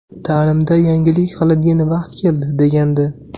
Ta’limda yangilik qiladigan vaqt keldi”, degandi.